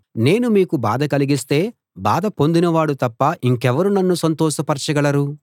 నేను మీకు బాధ కలిగిస్తే బాధ పొందినవాడు తప్ప ఇంకెవరు నన్ను సంతోషపరచగలరు